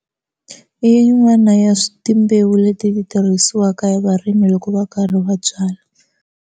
I yin'wana ya timbewu leti tirhisiwaka varimi loko va karhi va byala.